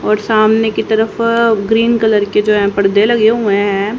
और सामने की तरफ अ ग्रीन कलर के जो है पर्दे लगे हुए हैं।